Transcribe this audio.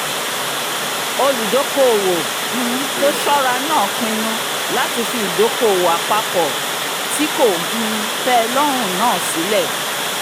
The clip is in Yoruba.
olùdóokòòwò um tó ṣọ́ra náà pinnu láti fi ìdóokòòwò àpapọ̀ tí kò um tẹ́ ẹ lọ́rùn náà sílẹ̀